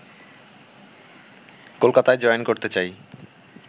কলকাতায় জয়েন করতে যাই